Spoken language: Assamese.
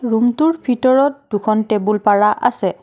ৰূম টোৰ ভিতৰত দুখন টেবুল পাৰা আছে।